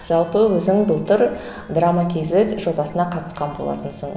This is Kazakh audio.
жалпы өзің былтыр драма кейзет жобасына қатысқан болатынсың